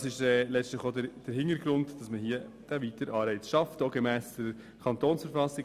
Dies ist letztlich auch der Hintergrund dafür, einen weiteren Anreiz gemäss Artikel 110 KV zu schaffen.